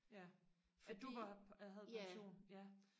ja at du var havde pension ja